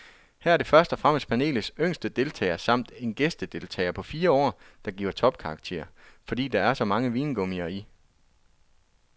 Her er det først og fremmest panelets yngste deltager samt en gæstedeltager på fire år, der giver topkarakter, fordi der er så mange vingummier i.